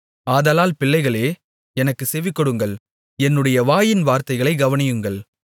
ஆதலால் பிள்ளைகளே எனக்குச் செவிகொடுங்கள் என்னுடைய வாயின் வார்த்தைகளைக் கவனியுங்கள்